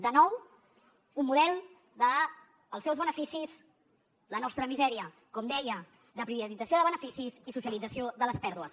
de nou un model dels seus beneficis la nostra misèria com deia de privatització de beneficis i socialització de les pèrdues